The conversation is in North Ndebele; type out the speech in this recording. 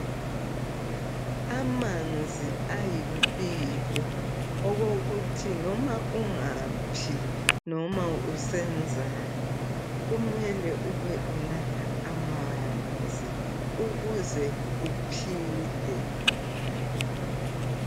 Amanzi ayimpilo okokuthi noma ungaphi noma usenzani kumele ube unatha amanzi ukuze uphile.